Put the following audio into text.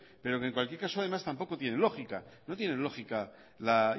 pero que en cualquier caso además tampoco tiene lógica no tiene lógica la